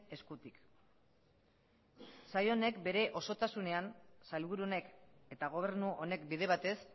eskutik saio honek bere osotasunean sailburu honek eta gobernu honek bide batez